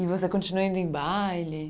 E você continua indo em baile?